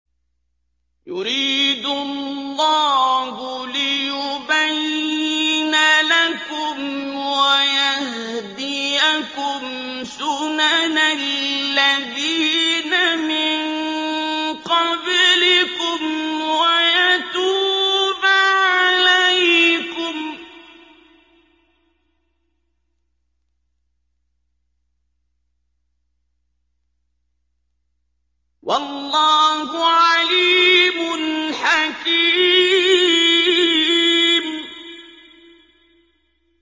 يُرِيدُ اللَّهُ لِيُبَيِّنَ لَكُمْ وَيَهْدِيَكُمْ سُنَنَ الَّذِينَ مِن قَبْلِكُمْ وَيَتُوبَ عَلَيْكُمْ ۗ وَاللَّهُ عَلِيمٌ حَكِيمٌ